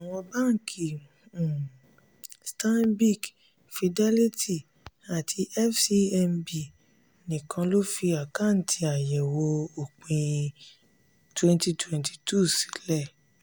àwọn banki um stanbic fidelity àti fcmb nìkan lò fi àkátì àyẹ̀wò òpin twenty twenty two sílẹ̀.